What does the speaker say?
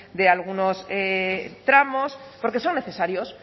de algunos tramos porque son necesarios